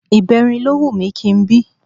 Ìbẹrin ló wù mí kí n bí